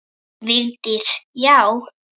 Vigdís: Já!